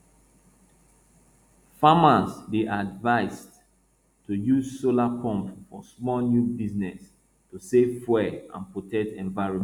farmers dey advised to use solar pump for small new business to save fuel and protect environment